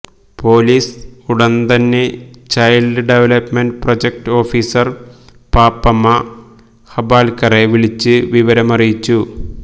police ഉടന്തന്നെ child development project officer Pappamma ഹബാല്ക്കറെ വിളിച്ചു വിവരമറിയിച്ചു